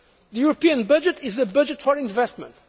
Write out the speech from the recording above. The European budget is a budget for investment